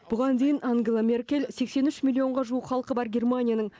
бұған дейін ангела меркель сексен үш миллионға жуық халқы бар германияның